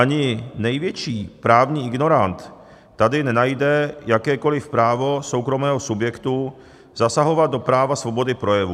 Ani největší právní ignorant tady nenajde jakékoliv právo soukromého subjektu zasahovat do práva svobody projevu.